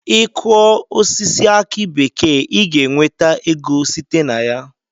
I Kụọ osisi aki bekee I ga enweta ego site na ya.